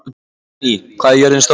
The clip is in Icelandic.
Benóný, hvað er jörðin stór?